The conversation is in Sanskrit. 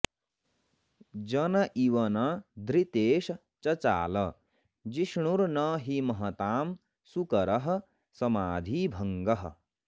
जन इव न धृतेश् चचाल जिष्णुर्न हि महतां सुकरः समाधिभङ्गः